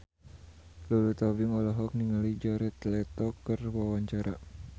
Lulu Tobing olohok ningali Jared Leto keur diwawancara